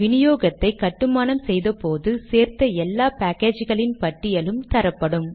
வினியோகத்தை கட்டுமானம் செய்த போது சேர்த்த எல்லா பேக்கேஜ்களின் பட்டியலும் தரப்படும்